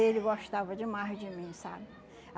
Ele gostava demais de mim, sabe?